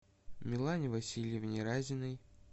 милане васильевне разиной